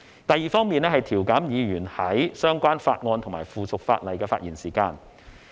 第二方面，是調減議員在相關法案和附屬法例的發言時間。